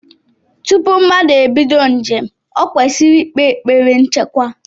Tupu mmadu ebido njem, ọ kwesịrị ikpe ekpere nchekwa.